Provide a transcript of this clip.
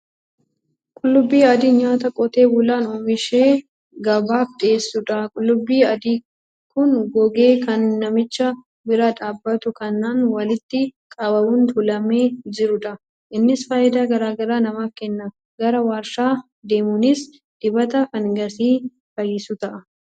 Qullubbi adiin nyaata qotee bulaan oomishee gabaaf dhiyeessudha. Qullubbii adiin kun gogee kan namicha bira dhaabbatu kanaan walitti qabamuun tuulamee jirudha. Innis faayidaa garaa garaa namaaf kenna. Gara waarshaa deemuunis dibata fangasii fayyisu ta'a.